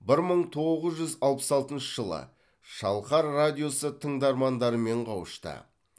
бір мың тоғыз жүз алпыс алтыншы жылы шалқар радиосы тыңдармандарымен қауышты